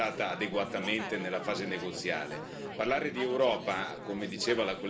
La parte tecnica l'abbiamo già fatta, l'abbiamo affrontata adeguatamente nella fase negoziale.